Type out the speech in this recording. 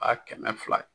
A kɛmɛ fila ye